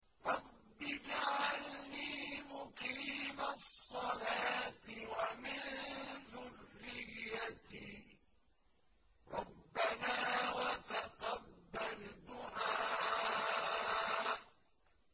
رَبِّ اجْعَلْنِي مُقِيمَ الصَّلَاةِ وَمِن ذُرِّيَّتِي ۚ رَبَّنَا وَتَقَبَّلْ دُعَاءِ